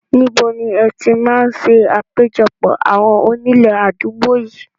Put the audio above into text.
Níbo ni ẹ ti máa ń ṣe àpéjọpọ̀ àwọn onílé àdúgbò yìí?